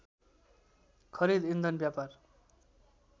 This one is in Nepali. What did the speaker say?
खरिद इन्धन व्यापार